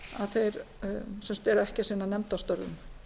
að þeir eru ekki að sinna nefndarstörfum